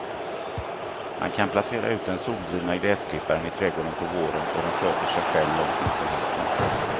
Man kan placera ut den soldrivna gräsklipparen i trädgården på våren och den sköter sig själv långt in på hösten.